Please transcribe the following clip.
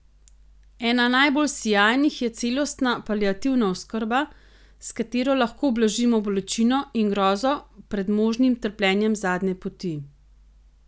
Ena najbolj sijajnih je celostna paliativna oskrba, s katero lahko blažimo bolečino in grozo pred možnim trpljenjem zadnje poti.